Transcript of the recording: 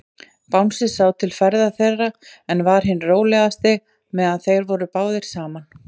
Bangsi sá til ferða þeirra, en var hinn rólegasti, meðan þeir voru báðir saman.